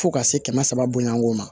Fo ka se kɛmɛ saba bonyani ko ma